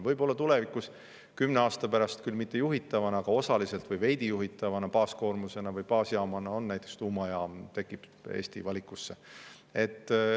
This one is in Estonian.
Võib-olla tulevikus, kümne aasta pärast, küll mitte juhitavana, aga osaliselt või veidi juhitavana on meil baasjaamaks näiteks tuumajaam, tekib ka see Eesti valikusse.